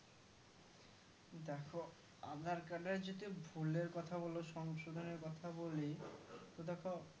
দেখো aadhar card এর যদি ভুলের কথা বোলো সংশোধনের বলি তো দেখো